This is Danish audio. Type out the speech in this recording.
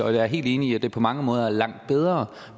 jeg er helt enig i at det på mange måder er langt bedre